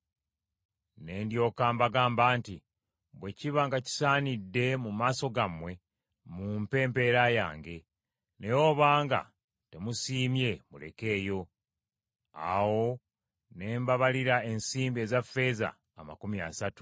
Ne ndyoka mbagamba nti, “Bwe kiba nga kisaanidde mu maaso gammwe mumpe empeera yange; naye obanga temusiimye mulekeeyo.” Awo ne bambalira ensimbi eza ffeeza amakumi asatu.